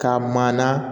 Ka maa na